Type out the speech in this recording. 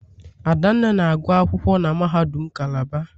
Adanne na-agụ akwụkwọ na mahadum Calabar.